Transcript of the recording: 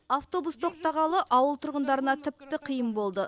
автобус тоқтағалы ауыл тұрғындарына тіпті қиын болды